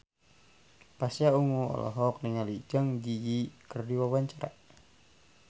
Pasha Ungu olohok ningali Zang Zi Yi keur diwawancara